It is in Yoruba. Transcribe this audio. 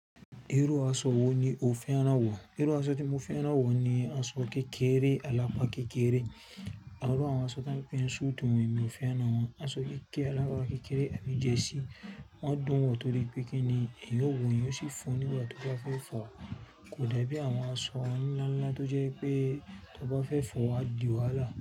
Irú aṣọ wo ni o fẹ́ rán wọ̀? Irú aṣọ tí mo fẹ́ rán wọ̀ ni aṣọ kékeré, alapa kékeré. Àwọn irú àwọn aṣọ tí wọ́n ń pè ní súùtì wọ̀nmí ò fẹ́ rán wọ̀n. Aṣọ kékeré, alapa kékeré àbí jersey. Wọ́n dùn wọ̀ nítorí pé kíni ẹ̀yọ̀ wọ̀ ń yóò sì fọ nígbà tó bá fẹ́ fọ, kò dàbí àwọn aṣọ ọní ńláńlá tó jẹ́ pé tó bá fẹ́ fọ á di wàhálà.